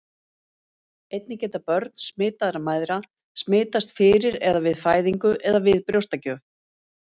einnig geta börn smitaðra mæðra smitast fyrir eða við fæðingu eða við brjóstagjöf